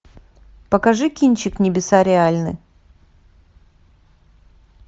покажи кинчик небеса реальны